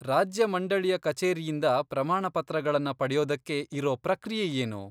ರಾಜ್ಯ ಮಂಡಳಿಯ ಕಚೇರಿಯಿಂದ ಪ್ರಮಾಣಪತ್ರಗಳನ್ನ ಪಡೆಯೋದಕ್ಕೆ ಇರೋ ಪ್ರಕ್ರಿಯೆ ಏನು?